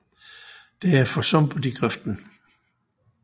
Der er for sumpet i grøften